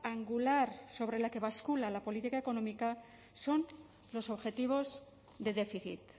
angular sobre la que bascula la política económica son los objetivos de déficit